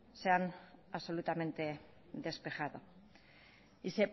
se han absolutamente despejado y